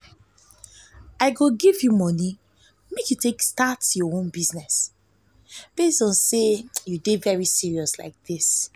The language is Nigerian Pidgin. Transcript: i go give you money make you start your own business since you dey serious like dis